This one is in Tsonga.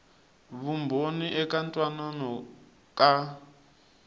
vumbhoni eka ku twanana ka